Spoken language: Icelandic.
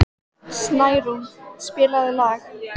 Snærún, spilaðu lag.